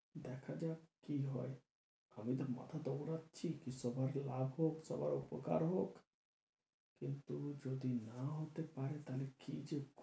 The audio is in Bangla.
দেখা যাক কি হয় আমি তো মাঠে দৌড়াচ্ছি কি সবার লাভ হোক, সবার উপকার হোক কিন্তু যদি না হতে পারে তাহলে কি যে